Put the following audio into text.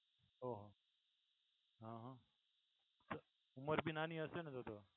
ઓહો અ હ, તો ઉંમર ભી નાની હશે ને તો તો